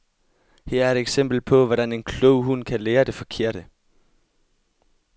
Her er et eksempel på, hvordan en klog hund kan lære det forkerte.